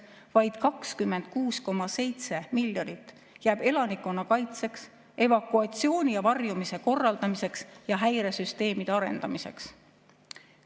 Vaid 26,7 miljonit jääb elanikkonnakaitseks, evakuatsiooni ja varjumise korraldamiseks ja häiresüsteemide arendamiseks.